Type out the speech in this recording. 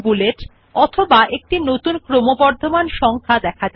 so let us click on the second style under the numbering type style